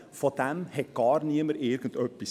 Davon wusste niemand etwas.